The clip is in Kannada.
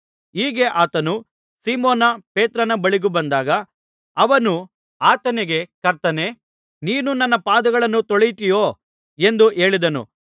ಹೀಗೆ ಆತನು ಸೀಮೋನ ಪೇತ್ರನ ಬಳಿಗೆ ಬಂದಾಗ ಅವನು ಆತನಿಗೆ ಕರ್ತನೇ ನೀನು ನನ್ನ ಪಾದಗಳನ್ನು ತೊಳೆಯುತ್ತೀಯೋ ಎಂದು ಹೇಳಿದನು